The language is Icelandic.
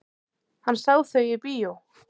Hann sá þau í bíó.